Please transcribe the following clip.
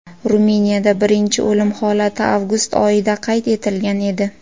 Ruminiyada birinchi o‘lim holati avgust oyida qayd etilgan edi.